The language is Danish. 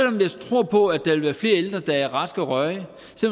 om jeg tror på at der vil være flere ældre der er raske og rørige